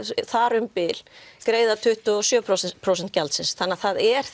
þar um bil greiða tuttugu og sjö prósent prósent gjaldsins þannig að það er